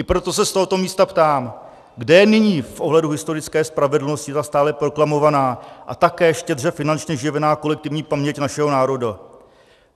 I proto se z tohoto místa ptám, kde je nyní v ohledu historické spravedlnosti ta stále proklamovaná a také štědře finančně živená kolektivní paměť našeho národa?